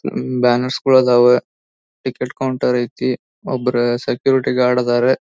ಉಹ್ banners ಗಳು ಅದಾವೆ ticket counter ಐತಿ ಒಬ್ಬರ ಸೆಕ್ಯೂರಿಟಿ ಗಾರ್ಡ್ ಅದರ